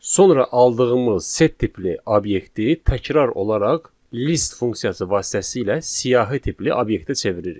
Sonra aldığımız set tipli obyekti təkrar olaraq list funksiyası vasitəsilə siyahı tipli obyektə çeviririk.